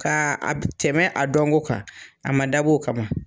Ka a tɛmɛ a dɔnko kan, a ma dab'o kama.